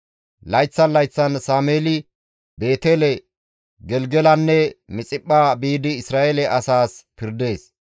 Layththan layththan Sameeli Beetele, Gelgelanne Mixiphpha biidi Isra7eele asaas pirdees.